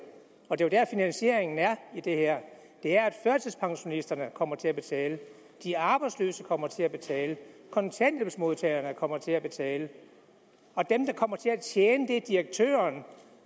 og det er der finansieringen er i det her her at førtidspensionisterne kommer til at betale de arbejdsløse kommer til at betale kontanthjælpsmodtagerne kommer til at betale og dem der kommer til at tjene er direktørerne